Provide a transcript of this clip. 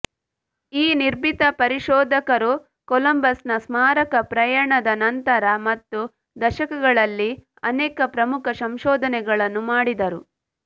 ಈ ನಿರ್ಭೀತ ಪರಿಶೋಧಕರು ಕೊಲಂಬಸ್ನ ಸ್ಮಾರಕ ಪ್ರಯಾಣದ ನಂತರ ಮತ್ತು ದಶಕಗಳಲ್ಲಿ ಅನೇಕ ಪ್ರಮುಖ ಸಂಶೋಧನೆಗಳನ್ನು ಮಾಡಿದರು